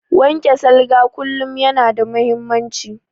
Wanke salga kullum yana da muhimmanci